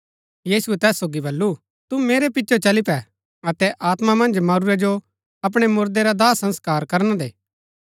यीशुऐ तैस सोगी बल्लू तू मेरै पिचो चली पै अतै आत्मा मन्ज मरूरै जो अपणै मुरदै रा दाह संस्कार करना दे